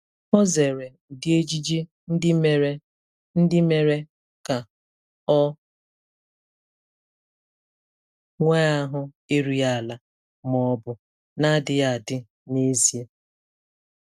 Ọ zere ụdị ejiji ndị mere ndị mere ka ọ nwee ahụ erughị ala ma ọ bụ na-adịghị adị n'ezie.